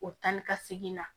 O tan ni ka segin na